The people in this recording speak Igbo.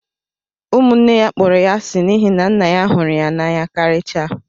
Ụmụnne ya kpọrọ ya asi n'ihi na nna ya hụrụ ya n'anya karịchaa